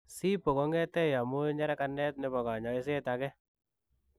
CIPO kongetei amuu nyerekaneet nepo kanyaiseet agee.